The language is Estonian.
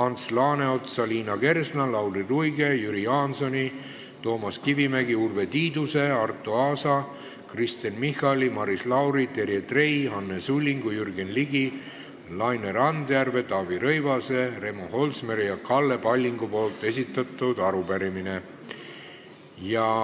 Ants Laaneotsa, Liina Kersna, Lauri Luige, Jüri Jaansoni, Toomas Kivimägi, Urve Tiiduse, Arto Aasa, Kristen Michali, Maris Lauri, Terje Trei, Anne Sullingu, Jürgen Ligi, Laine Randjärve, Taavi Rõivase, Remo Holsmeri ja Kalle Pallingu esitatud arupärimine.